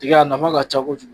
Tigɛ a nafa ka ca kojugu.